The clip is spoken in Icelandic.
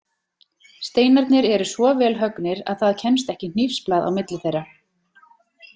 Steinarnir eru svo vel höggnir að það kemst ekki hnífsblað á milli þeirra.